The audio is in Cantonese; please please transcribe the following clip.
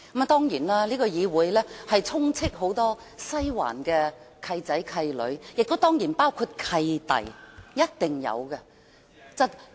當然，這個議會充斥很多西環"契仔"、"契女"，當然亦有"契弟"，是一定有的。